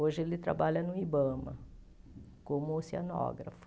Hoje ele trabalha no Ibama como oceanógrafo.